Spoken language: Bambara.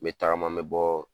N bɛ tagama n bɛ bɔɔ